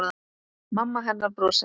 Mamma hennar brosir.